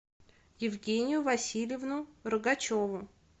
евгению васильевну рогачеву